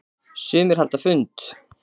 Sumir halda fund.